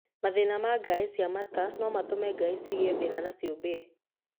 Mathĩna ma ngaĩ cia mata no matũme ngaĩ cigĩe thĩna na ciube.